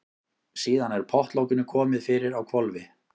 Síðan er pottlokinu komið fyrir á hvolfi.